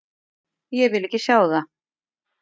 Ég vil ekki sjá það.